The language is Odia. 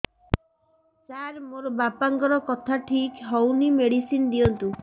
ସାର ମୋର ବାପାଙ୍କର କଥା ଠିକ ହଉନି ମେଡିସିନ ଦିଅନ୍ତୁ